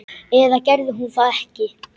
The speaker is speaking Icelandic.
Eða gerði hún það ekki?